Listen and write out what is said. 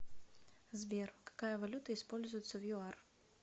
сбер какая валюта используется в юар